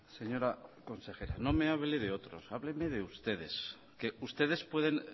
señora consejera no me hable de otros háblemede ustedes que ustedes pueden